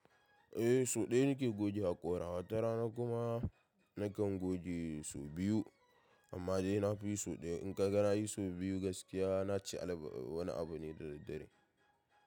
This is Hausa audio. Eh so ɗaya nake goge haƙora, wata rana kuma nakan goge sau biyu amma dai na fiyi sau ɗaya. In kaga na yi sau biyu gaskiya, na ci wani abu ne da daddare.